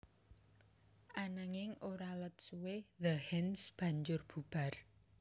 Ananging ora let suwé The Hands banjur bubar